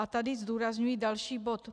A tady zdůrazňuji další bod.